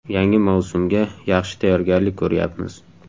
Yangi mavsumga yaxshi tayyorgarlik ko‘ryapmiz.